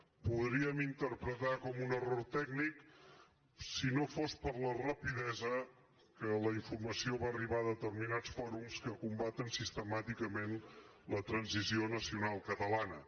ho podríem interpretar com un error tècnic si no fos per la rapidesa amb què la infor·mació va arribar a determinats fòrums que combaten sistemàticament la transició nacional catalana